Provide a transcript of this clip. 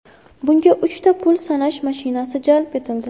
Bunga uchta pul sanash mashinasi jalb etildi.